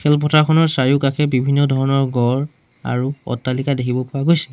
চাৰিওকাষে বিভিন্ন ধৰণৰ গড় আৰু অট্টালিকা দেখিব পোৱা গৈছে।